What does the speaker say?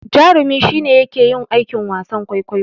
Jarumi shi ne yake yin aikin wasan kwaikwayo.